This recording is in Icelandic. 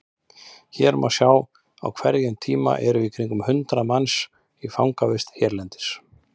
Þar má sjá að á hverjum tíma eru í kringum hundrað manns í fangavist hérlendis.